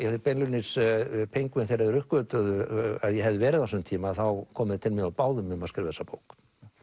beinlínis þegar þeir uppgötvuðu að ég hefði verið á þessum tíma komu þeir til mín og báðu mig að skrifa þessa bók